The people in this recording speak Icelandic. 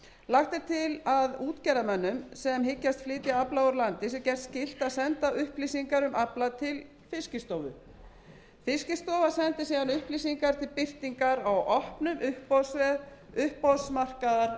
lagt er til að útgerðarmönnum sem hyggjast flytja afla úr landi sé gert skylt að senda upplýsingar um afla til fiskistofu sem sendir síðan upplýsingarnar til birtingar á opnum uppboðsvef uppboðsmarkaðar með